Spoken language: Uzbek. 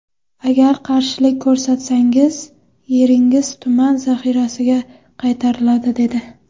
Agar qarshilik ko‘rsatsangiz, yeringiz tuman zaxirasiga qaytariladi’, dedi.